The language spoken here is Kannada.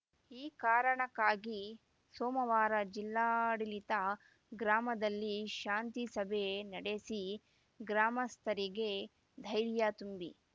ಈ ಕಾರಣಕ್ಕಾಗಿ ಸೋಮವಾರ ಜಿಲ್ಲಾಡಳಿತ ಗ್ರಾಮದಲ್ಲಿ ಶಾಂತಿ ಸಭೆ ನಡೆಸಿ ಗ್ರಾಮಸ್ಥರಿಗೆ ಧೈರ್ಯ ತುಂಬಿ